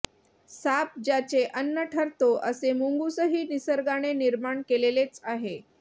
साप ज्याचे अन्न ठरतो असे मुंगूसही निसर्गाने निर्माण केलेलेच आहे